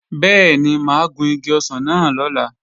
Bẹ́ẹ̀ni, mà á gun igi ọsàn náà lọ́la